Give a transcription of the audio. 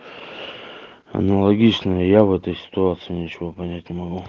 аналогично и я в этой ситуации ничего понять не могу